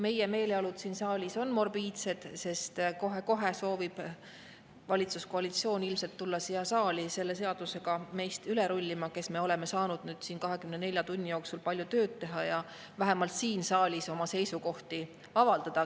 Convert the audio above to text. Meie meeleolud siin saalis on morbiidsed, sest kohe-kohe soovib valitsuskoalitsioon tulla siia saali selle seadusega üle rullima meist, kes me oleme saanud siin 24 tunni jooksul palju tööd teha ja vähemalt siin saalis oma seisukohti avaldada.